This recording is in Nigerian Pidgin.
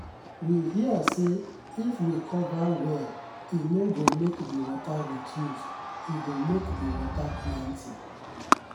we hear say if we cover well e no go make the water reduce e go make the water plenty.